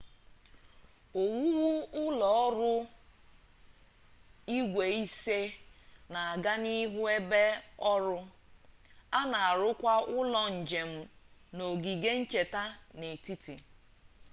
owuwu ụlọ ruru igwe ise na-aga n'ihu n'ebe ọrụ a na arụkwa ụlọ njem na ogige ncheta n'etiti